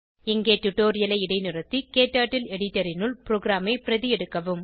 இங்கே டுடோரியலை இடைநிறுத்தி உங்கள் க்டர்ட்டில் எடிட்டர் னுள் ப்ரோகிராமை பிரதி எடுக்கவும்